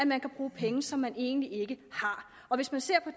man kan bruge penge som man egentlig ikke har hvis man ser på